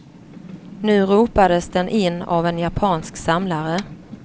Nu ropades den in av en japansk samlare.